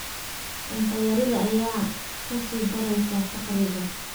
Cunto yarida ayaa ka sii dareysa faqriga.